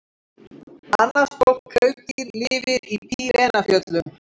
Annað stórt klaufdýr lifir í Pýreneafjöllum.